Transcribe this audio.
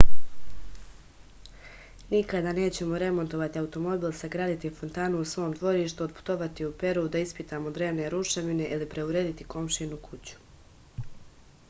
nikada nećemo remontovati automobil sagraditi fontanu u svom dvorištu otputovati u peru da ispitamo drevne ruševine ili preurediti komšijinu kuću